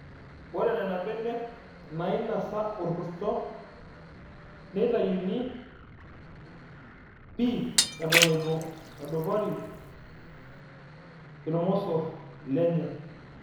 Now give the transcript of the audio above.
Ore Nena benek naainisa orkurto neitayuni pi eton eitu edupari irmosorr lenye.